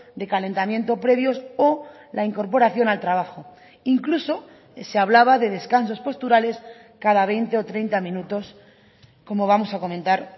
de calentamiento previos o la incorporación al trabajo incluso se hablaba de descansos posturales cada veinte o treinta minutos como vamos a comentar